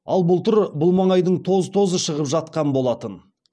ал былтыр бұл маңайдың тоз тозы шығып жатқан болатын